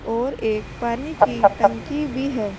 और एक पानी की टंकी भी है।